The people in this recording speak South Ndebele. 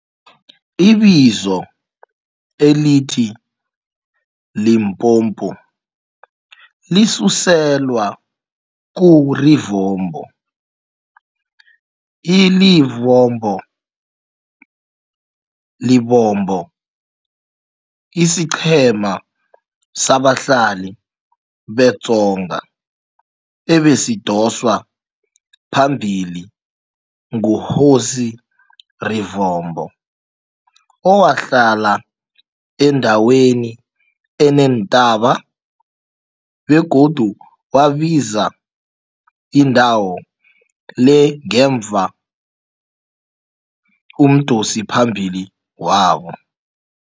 Ibizo elithi Limpopo lisuselwa ku-Rivombo, i-Livombo, Lebombo, isiqhema sabahlali be-Tsonga ebesidoswa phambili ngu-Hosi Rivombo owahlala endaweni eneentaba begodu wabiza indawo le ngemva umdosiphambili wabo.